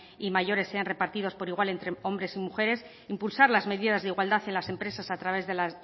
y mayores sean repartidos por igual entre hombres y mujeres impulsar las medidas de igualdad en las empresas a través de la